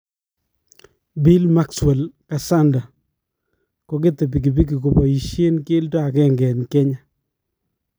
Bill Maxwell Kasanda : Koketee bikibiki kobaisyeen keldo agenge en Kenya